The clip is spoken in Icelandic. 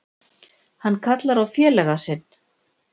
Hann kallar á félaga sinn.